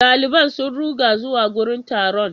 Daliban sun ruga zuwa wurin taron.